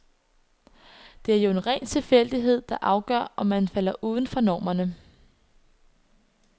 Det er jo en ren tilfældighed, der afgør om man falder uden for normerne.